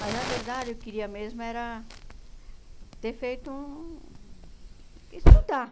Mas, na verdade, eu queria mesmo era ter feito um... Estudar,